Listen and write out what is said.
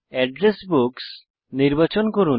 address books নির্বাচন করুন